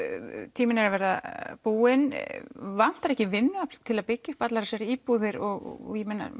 tíminn er að verða búinn en vantar ekki vinnuafl til að byggja upp allar þessar íbúðir og